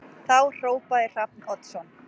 Þá hrópaði Hrafn Oddsson